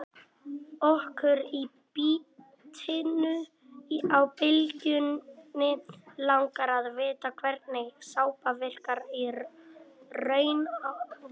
Okkur í Bítinu á Bylgjunni langar að vita hvernig sápa virkar í raun á vatn?